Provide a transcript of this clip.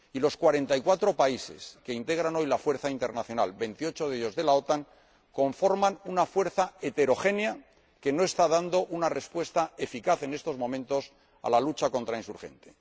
Y los cuarenta y cuatro países que integran hoy la fuerza internacional conforman una fuerza heterogénea que no está dando una respuesta eficaz en estos momentos a la lucha contra los insurgentes.